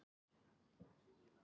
Hvað eru margir strengir í fiðlu?